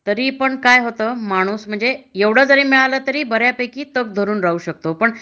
तरी पण काय होत माणूस म्हणजे एवढ जरी मिळाल तरी बऱ्या पैकी तग धरून राहू शकतो पण